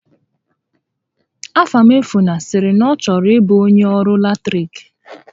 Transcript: Afamefuna sịrị na ọ chọrọ ịbụ onyé ọrụ latiriki